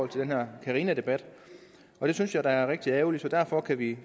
den her carinadebat det synes jeg da er rigtig ærgerligt og derfor kan vi